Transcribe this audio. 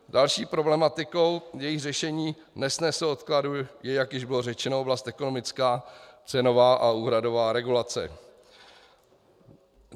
Další problematikou, jejíž řešení nesnese odkladu, je, jak již bylo řečeno, oblast ekonomická, cenová a úhradová regulace.